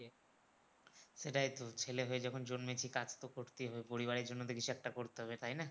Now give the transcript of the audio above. সেটাই তো ছেলে হয়ে যখন জন্মেছি কাজ তো করতেই হবে পরিবারের জন্য তো কিছু একটা করতে হবে তাইনা?